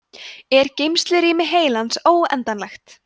er geymslurými heilans óendanlegt